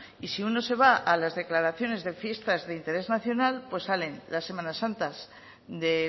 y si uno se va a las declaraciones de fiestas de interés nacional pues salen las semanas santas de